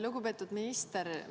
Lugupeetud minister!